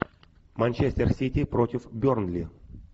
манчестер сити против бернли